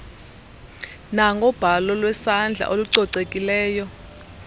nangobhalo lwesandla olucocekileyo